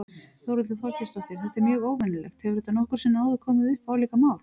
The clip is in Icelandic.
Þórhildur Þorkelsdóttir: Þetta er mjög óvenjulegt, hefur þetta nokkru sinni áður komið upp, álíka mál?